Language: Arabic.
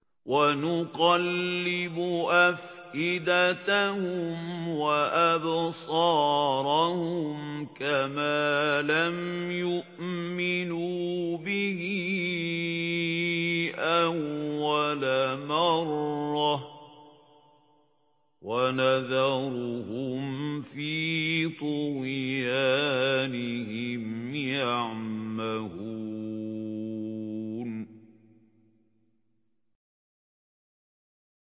وَنُقَلِّبُ أَفْئِدَتَهُمْ وَأَبْصَارَهُمْ كَمَا لَمْ يُؤْمِنُوا بِهِ أَوَّلَ مَرَّةٍ وَنَذَرُهُمْ فِي طُغْيَانِهِمْ يَعْمَهُونَ